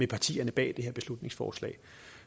partierne bag dette beslutningsforslag